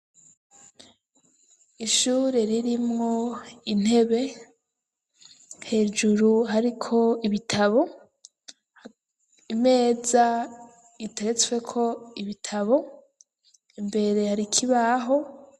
Ishure ririmwo intebe hejuru hariko ibitabo imeza iteretsweko ibitabo imbere hari ikibaho.